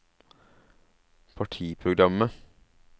partiprogrammet